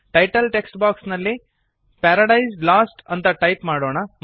title text box ನಲ್ಲಿ paradise lost ಅಂತ type ಮಾಡೋಣ